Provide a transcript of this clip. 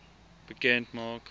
bekend maak